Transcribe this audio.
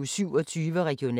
DR P1